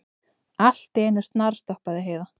Allt í einu snarstoppaði Heiða.